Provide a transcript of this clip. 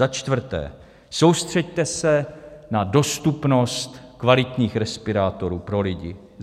Za čtvrté, soustřeďte se na dostupnost kvalitních respirátorů pro lidi.